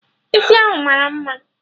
Isi ahụ mara mma